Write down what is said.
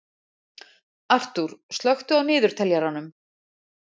Arthúr, slökktu á niðurteljaranum.